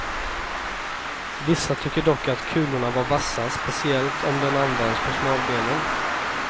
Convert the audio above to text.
Vissa tycker dock att kulorna var vassa, speciellt om den används på smalbenen.